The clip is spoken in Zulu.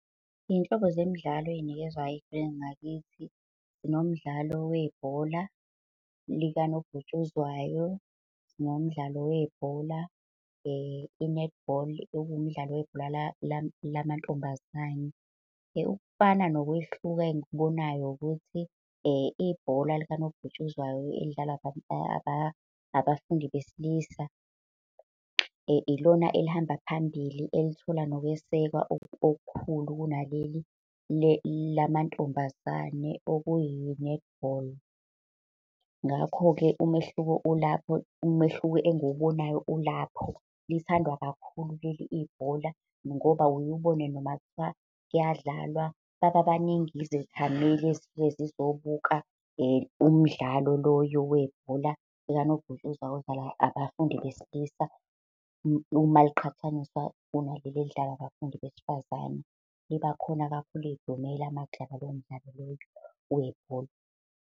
Iy'nhlobo zemidlalo oy'nikezwayo ey'koleni ngakithi. Sinomdlalo webhola likanobhutshuzwayo. Sinomdlalo webhola i-netball, okuwumdlalo webhola lamantombazane. Ukufana nokwehluka engikubonayo ukuthi ibhola likanobhutshuzwayo elidlalwa abafundi besilisa, ilona elihamba phambili, elithola nokwesekwa okukhulu kunaleli lamantombazane okuyi-netball. Ngakho-ke umehluko ulapho, umehluko engiwubonayo ulapho. Lithandwa kakhulu leli ibhola, ngoba uye ubone noma kuthiwa kuyadlalwa bababaningi izethameli ezisuke sizobuka umdlalo loyo webhola likanobhutshuzwayo odlalwa abafundi besilisa, uma liqhathaniswa kunaleli elidlala abafundi besifazane. Libakhona kakhulu idumela makudlalwa lowo mdlalo loyo webhola.